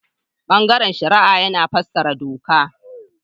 Bangaren shari'a yana fassarar doka.